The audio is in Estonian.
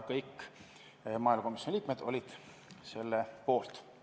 Kõik maaelukomisjoni liikmed olid selle poolt.